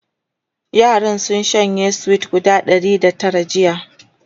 yaran sun shanye sweet guda Ɗari da Tara jiya